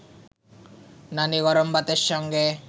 নানি গরম ভাতের সঙ্গে